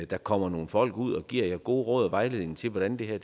der kommer nogle folk ud og giver jer gode råd og vejledning til hvordan det her